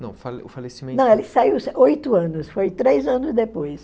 Não, o fa o falecimento... Não, ele saiu oito anos, foi três anos depois.